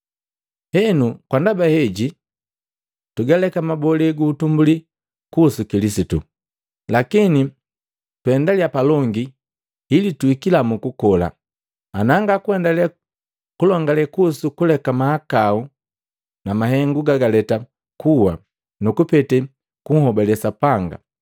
Henu kwa ndaba heji, tugaleka mabole gu utumbuli kuhusu Kilisitu, lakini tuendaliya palongi ili tuhikila mu kukola, na nga kuendale kulongale kuhusu kuleka mahakau na mahengu gagaleta kuwa nu kupete kunhobale Sapanga;